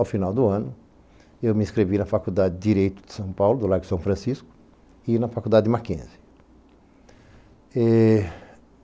Ao final do ano eu me inscrevi na Faculdade de Direito de São Paulo, do Largo de São Francisco, e na Faculdade de Mackenzie.